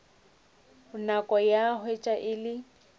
nako ka hwetša e le